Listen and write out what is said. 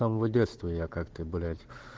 самого детства я как бы блять